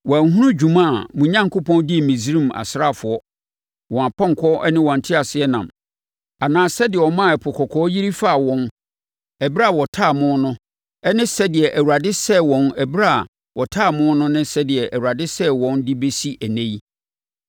Wɔanhunu dwuma a mo Onyankopɔn dii Misraim asraafoɔ, wɔn apɔnkɔ ne wɔn nteaseɛnam, anaa sɛdeɛ ɔmaa Ɛpo Kɔkɔɔ yiri faa wɔn ɛberɛ a wɔtaa mo no ne sɛdeɛ Awurade sɛee wɔn ɛberɛ a wɔtaa mo no ne sɛdeɛ Awurade sɛee wɔn de bɛsi ɛnnɛ yi.